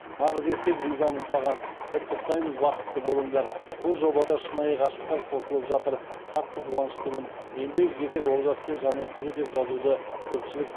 нағыз еркек ризамын саған құттықтаймыз бақытты болыңдар бұл жобада шынайы ғашықтар қосылып жатыр қатты қуаныштымын ендігі кезек олжас пен жанеркеде деп жазуды көпшілік